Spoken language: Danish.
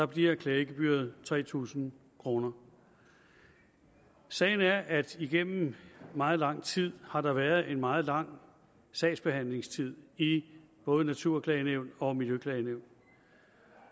bliver klagegebyret tre tusind kroner sagen er at igennem meget lang tid har været en meget lang sagsbehandlingstid i både naturklagenævn og miljøklagenævn